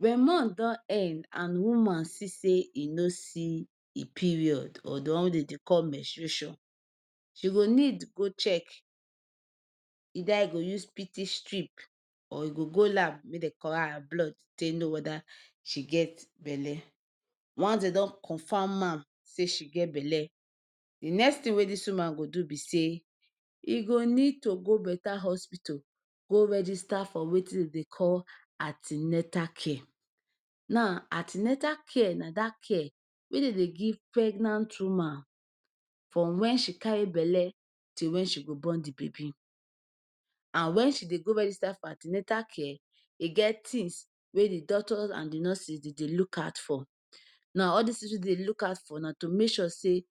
Wen month don end and woman see say e no see e period or the one dem dey called menstration e go need go check either u go use pt strip or u go go lab make dem collect her blood, take know weda she get belle once’s dem don confirm am say she get belle d next tin wey dis woman go do b say e go need to go better hospital go register for Wetin dem Dey call an ten atal care, now an ten atal care na dat care at dem Dey give pregnant woman wen she carry belle to wen she go born d baby, wen she Dey go register for an ten atal care e get d tins wey doctors and nurses Dey Dey look out for, now all dis tins wey dem Dey look out for, na to make sure say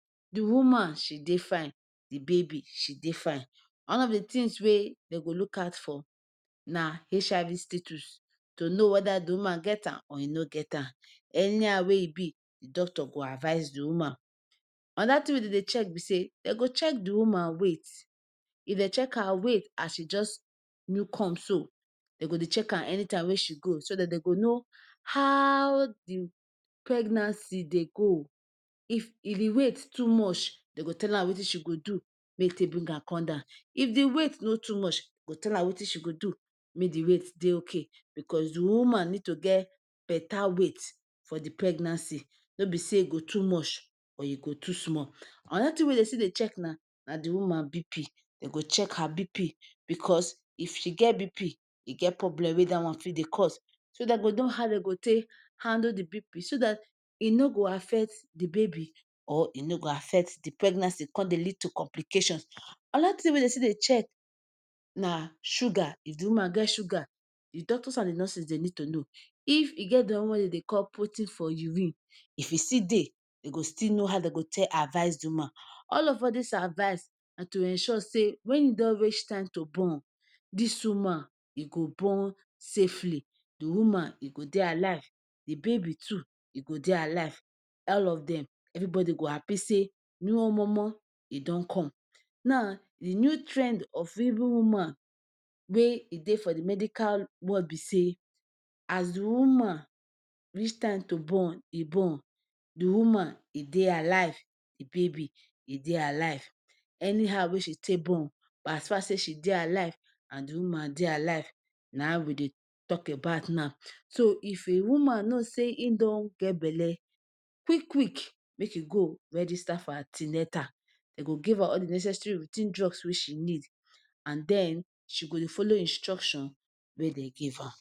she Dey fine d baby e Dey fine, one of d tins wey dem go look for na HIV status to know weda d woman get am or e no get am, anyhow wey e b d doctor go advice the woman, anoda tin dem dey check be say dem go check d woman weight if dem check her weight as she jus new come so, dem go dey check every time wey she go so dat Dey go know how d pregnancy Dey go, if d weight too much dem go tell am Wetin she go do, make dem bring am come down, if d weight no too much dem go tell am Wetin she go do make e Dey ok because d woman need to get beta weight for d pregnancy, no be say e go too much or e go too small, anoda tin wey dem Dey check na d woman BP dem go check her BP because e get problem wey dat one go fit Dey cause, so dem go handle d BP so dat e no go affect d baby, or e no go affect d pregnancy con Dey lead to complications, anoda tin wey dem still Dey check na sugar, if d woman get sugar d doctors and d nurses dem need to know, if e get d one wey dem Dey call protein for urine if still dey dem go still know how dem go take advice d woman, all of dis advice na too make ensure say wen e don reach time to born, dis woman e go born safely, d woman e go Dey alive d baby too e go Dey alive ,all of dem everybody go happy say new omomo e don come, now d new trend of evri woman wey e d medical world b say as d woman reach time to born e born, d woman e dey alive d baby e dey alive, anyhow wey she take born as far as she dey alive, and d woman dey alive na em we dey talk about now, so if a woman know say e don get belle quick quick make e register for an ten atal, dem go give her all d necessary writ ten job wey she need and den she go Dey follow instructions wey dem give her.